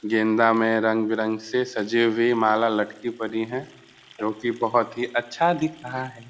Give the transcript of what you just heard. गेंदा में रंग-विरंग से सजी हुई माला लटकी पड़ी हैं क्यूंकि बहोत ही अच्छा दिख रहा है।